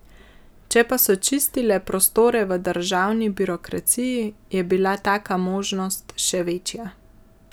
Če pa so čistile prostore v državni birokraciji, je bila taka možnost še večja.